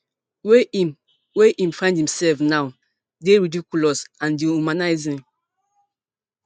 wey im wey im find imsef now dey ridiculous and dehumanising